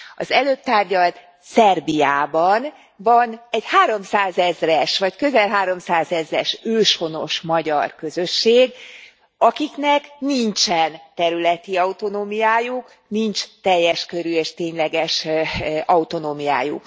Az előbb tárgyalt Szerbiában van egy háromszázezres, vagy közel háromszázezres őshonos magyar közösség, akiknek nincsen területi autonómiájuk, nincs teljes körű és tényleges autonómiájuk.